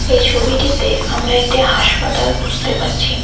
এই ছবিটিতে আমরা একটি হাসপাতাল বুঝতে পারছি।